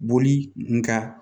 Boli nga